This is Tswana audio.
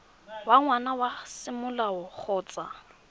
wa ngwana wa semolao kgotsa